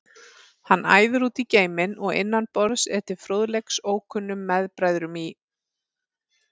Hann æðir út í geiminn og innan borðs er til fróðleiks ókunnum meðbræðrum í